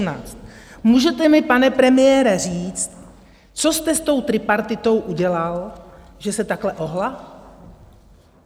Můžete mi, pane premiére, říct, co jste s tou tripartitou udělal, že se takhle ohnula?